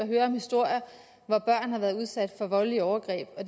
høre historier hvor børn har været udsat for voldelige overgreb og